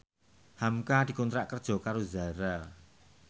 hamka dikontrak kerja karo Zara